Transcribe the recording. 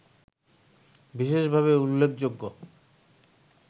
বিশেষভাবে উল্লেখযোগ্য